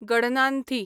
गडनानथी